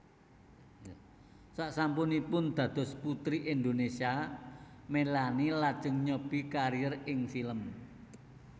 Sasampunipun dados Puteri Indonésia Melanie lajeng nyobi kariér ing film